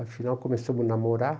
Afinal, começamos a namorar.